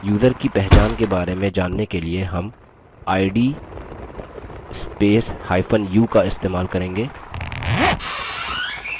user की पहचान के बारे में जानने के लिए हम id spacehyphen u का इस्तेमाल करेंगे